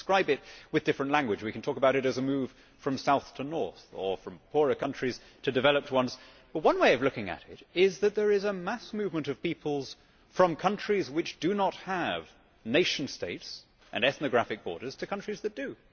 We can describe it with different language, we can talk about it as a move from south to north, or from poorer countries to developed ones. But one way of looking at it is that there is a mass movement of peoples from countries which do not have nation states and ethnographic borders to countries that do.